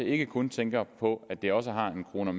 ikke kun tænker på at det også har en kroner